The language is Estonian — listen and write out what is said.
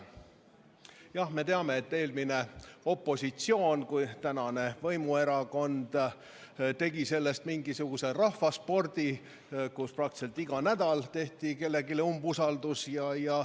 Jah, me teame, et eelmine opositsioon, tänane võimuerakond, tegi sellest mingisuguse rahvaspordi, praktiliselt iga nädal avaldati kellelegi umbusaldust.